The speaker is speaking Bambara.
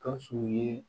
Gawusu ye